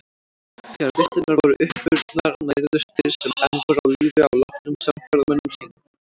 Þegar vistirnar voru uppurnar nærðust þeir sem enn voru á lífi á látnum samferðamönnum sínum.